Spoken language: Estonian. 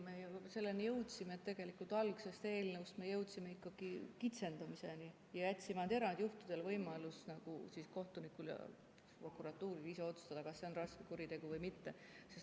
Me ju selleni jõudsime, et tegelikult algsest eelnõust me jõudsime ikkagi kitsendamiseni ja jätsime ainult erandjuhtudel võimaluse kohtunikul ja prokuratuuril ise otsustada, kas see on raske kuritegu või mitte.